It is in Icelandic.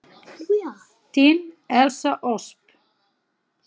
Þín Elsa Ösp.